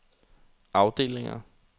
afdelinger